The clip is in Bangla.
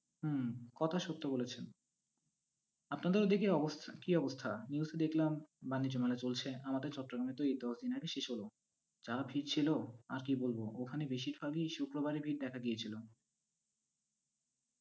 হুম কথা সত্য বলেছেন। আপনাদের ওদিকের অবস্থা, কি অবস্থা। News -এ দেখলাম, বানিজ্য মেলা চলছে, আমাদের চট্টগ্রামে তো এই দশ দিন আগে শেষ হলো। যা ভিড় ছিলো আর কি বলবো, ওখানে বেশিরভাগই শুক্রবারে ভিড় দেখা গিয়েছিলো।